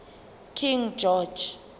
king george